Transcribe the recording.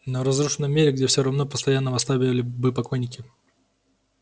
но в разрушенном мире где все равно постоянно восставали бы покойники